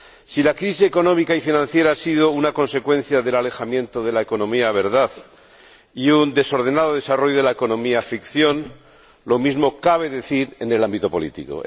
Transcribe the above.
Si la crisis económica y financiera ha sido una consecuencia del alejamiento de la economía verdad y un desordenado desarrollo de la economía ficción, lo mismo cabe decir en el ámbito político.